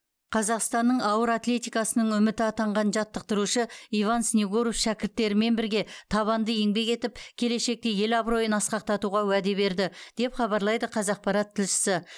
қазақстанның ауыр атлетикасының үміті атанған жаттықтырушы иван снегуров шәкірттерімен бірге табанды еңбек етіп келешекте ел абыройын асқақтатуға уәде берді деп хабарлайды қазақпарат тілшісі